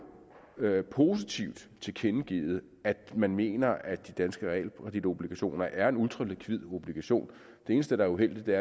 positivt tilkendegivet at man mener at de danske realkreditobligationer er ultralikvide obligationer det eneste der er uheldigt er